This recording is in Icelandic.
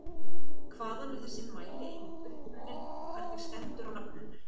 Hvaðan er þessi mælieining upprunnin og hvernig stendur á nafni hennar?